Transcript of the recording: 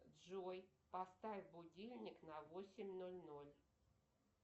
джой поставь будильник на восемь ноль ноль